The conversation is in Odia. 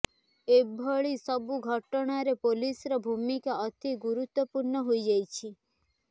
ଏଭଳି ସବୁ ଘଟଣାରେ ପୋଲିସର ଭୁମିକା ଅତି ଗୁରୁତ୍ବପୂର୍ଣ୍ଣ ହୋଇଯାଉଛି